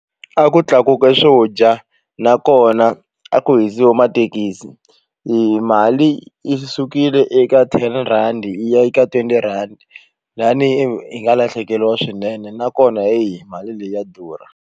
A ku tlakuke swo dya nakona a ku hisiwa mathekisi i mali yi sukile eka ten rhandi yi ya yi eka twenty rhandi lani hi nga lahlekeriwa swinene nakona heyi mali leyi ya durha.